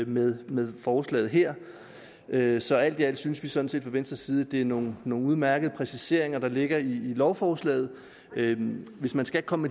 med med forslaget her her så alt i alt synes vi sådan set fra venstre side at det er nogle nogle udmærkede præciseringer der ligger i lovforslaget hvis man skulle komme